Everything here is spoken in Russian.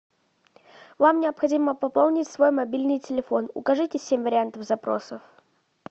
вам необходимо пополнить свой мобильный телефон укажите семь вариантов запросов